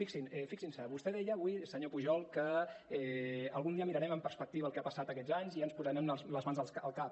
fixin·s’hi vostè deia avui senyor pu·jol que algun dia mirarem amb perspectiva el que ha passat aquests anys i ja ens po·sarem les mans al cap